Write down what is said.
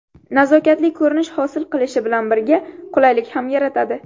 Nazokatli ko‘rinish hosil qilishi bilan birga, qulaylik ham yaratadi.